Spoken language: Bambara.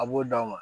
A b'o d'a ma